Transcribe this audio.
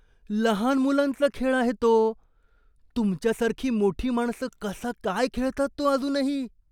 लहान मुलांचा खेळ आहे तो. तुमच्यासारखी मोठी माणसं कसा काय खेळतात तो अजूनही?